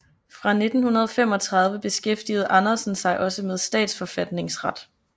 Fra 1935 beskæftigede Andersen sig også med statsforfatningsret